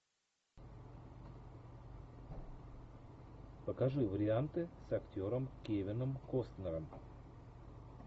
покажи варианты с актером кевином костнером